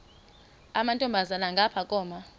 amantombazana ngapha koma